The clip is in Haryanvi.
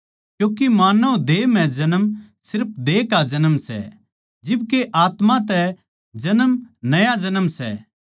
क्यूँके मानव देह म्ह जन्म सिर्फ देह का जन्म सै जिब के आत्मा तै जन्म नया जन्म सै